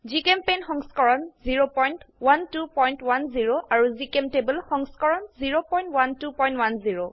জিচেম্পেইণ্ট সংস্কৰণ 01210 আৰু জিচেম্টেবল সংস্কৰণ 01210